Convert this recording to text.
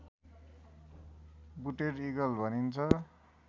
booted eagle भनिन्छ